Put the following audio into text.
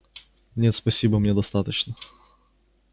нет спасибо мне достаточно